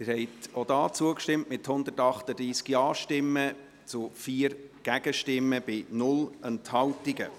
Sie haben auch hier zugestimmt, mit 138 Ja-Stimmen zu 4 Gegenstimmen bei 0 Enthaltungen.